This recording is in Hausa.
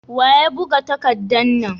Wa ya buga takadda na?